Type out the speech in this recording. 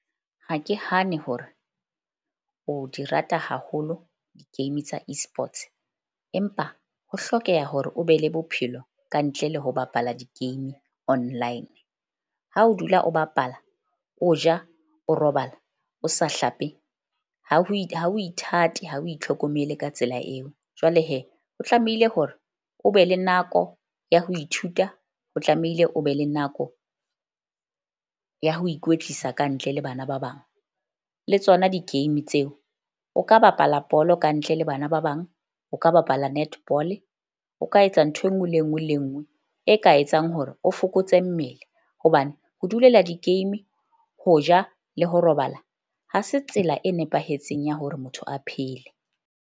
Ha ke hane hore o di rata haholo di-game tsa Esports, empa ho hlokeha hore o be le bophelo kantle le ho bapala di-game online. Ha o dula o bapala, o ja, o robala, o sa hlape ha ho ithate ha o itlhokomele ka tsela eo. Jwale o tlamehile hore o be le nako ya ho ithuta, ho tlamehile o be le nako ya ho ikwetlisa kantle le bana ba bang. Le tsona di-game tseo o ka bapala bolo kantle le bana ba bang. O ka bapala netball-e o ka etsa ntho e nngwe le e nngwe le nngwe e ka etsang hore o fokotse mmele. Hobane ho dulela di-game, ho ja le ho robala, ha se tsela e nepahetseng ya hore motho a phele.